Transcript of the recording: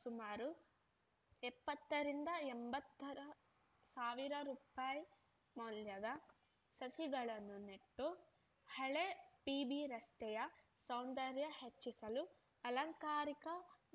ಸುಮಾರು ಎಪ್ಪತ್ತರಿಂದ ಎಂಬತ್ತುರ ಸಾವಿರ ರೂಪಾಯಿ ಮೌಲ್ಯದ ಸಸಿಗಳನ್ನು ನೆಟ್ಟು ಹಳೆ ಪಿಬಿರಸ್ತೆಯ ಸೌಂದರ್ಯ ಹೆಚ್ಚಿಸಲು ಅಲಂಕಾರಿಕ